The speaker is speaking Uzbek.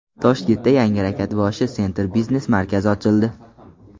Toshkentda yangi Rakatboshi Center biznes markazi ochildi.